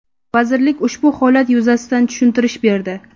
Vazirlik ushbu holat yuzasidan tushuntirish berdi.